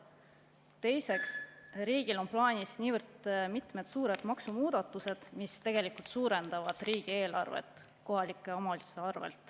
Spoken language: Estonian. Teiseks, riigil on plaanis mitmed suured maksumuudatused, mis tegelikult suurendavad riigieelarvet kohalike omavalitsuste arvel.